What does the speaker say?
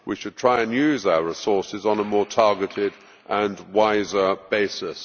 We should try and use our resources on a more targeted and wiser basis.